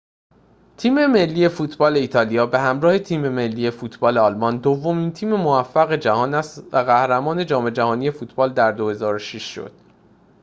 تیم ملی فوتبال ایتالیا به همراه تیم ملی فوتبال آلمان دومین تیم موفق جهان است و قهرمان جام‌جهانی فوتبال در ۲۰۰۶ شد